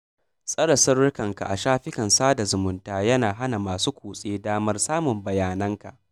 Tsare sirrinka a shafukan sada zumunta yana hana masu kutse damar samun bayananka.